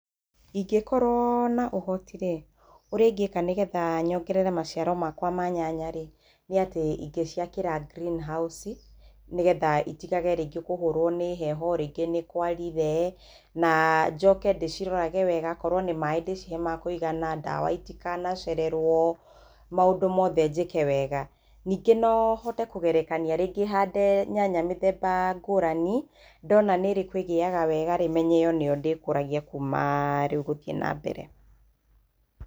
Ingĩkorwo na ũhoti rĩ, ũrĩa ingĩka nĩgetha nyongerere maciaro makwa ma nyanya rĩ, nĩ atĩ ingĩciakĩra greenhouse nĩgetha itigage rĩngĩ kũhũrwo nĩ heho, rĩngĩ nĩ kwarire, na njoke ndĩcirorage wega. Akorwo nĩ maaĩ ndĩcihe makũigana, ndawa itikana cererwo, maũndũ mothe njĩke wega. Ningĩ no hote kũgerekania, rĩngĩ hande nyanya mĩthemba ngũrani, ndona nĩ ĩrĩkũ ĩgĩaga wega rĩ, menye ĩyo nĩyo ndĩkũragia kuuma rĩu gũthiĩ na mbere.